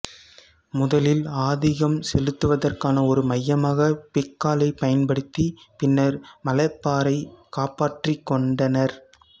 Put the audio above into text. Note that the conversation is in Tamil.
முதலில் ஆதிக்கம் செலுத்துவதற்கான ஒரு மையமாக பெக்காலைப் பயன்படுத்தி பின்னர் மலபாரைக் காப்பாற்றிக்கோண்டனர்